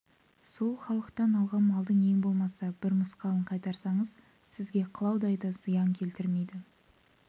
сол халықтан алған малдың ең болмаса бір мысқалын қайтарсаңыз сізге қылаудай да зиян келмейді